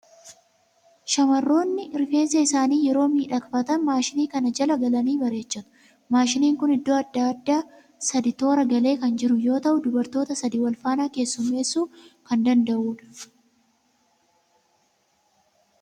Shamarroonni rifeensa isaanii yeroo miidhagfatan maashinii kana jala galanii bareechatu. Maashiniin kun iddoo adda addaa sadii toora galee kan jiru yoo ta'u, dubartoota sadii wal faana keessummeessuu kan danda'u dha.